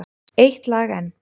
Eitt lag enn.